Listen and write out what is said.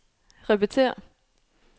repetér